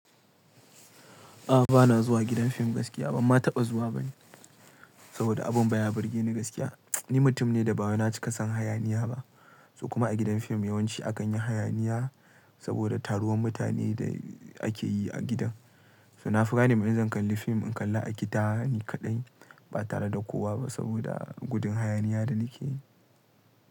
A'a, ba na zuwa gidan fim gaskiya ba. Ma taɓa zuwa ba ne saboda abun baya burgeni gaskiya. Ni mutum ne da baya cika son hayaniya ba, ko kuma a gidan fim yawanci akan yi hayaniya saboda taruwan mutanen da ake yi a gidan. So na fugar ne, mai zan kalli fim in kalla a gida ni kaɗai ba tare da kowa ba saboda gudun hayaniya da nake yi.